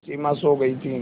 सिमा सो गई थी